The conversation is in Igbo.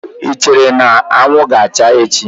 Ị chere na anwụ ga-acha echi?